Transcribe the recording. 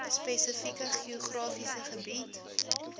spesifieke geografiese gebied